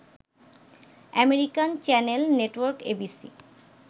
American channel network ABC